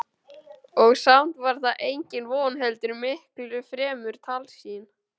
Og samt var það engin von heldur miklu fremur tálsýn.